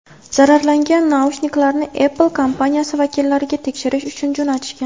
Zararlangan naushniklarni Apple kompaniyasi vakillariga tekshirish uchun jo‘natishgan.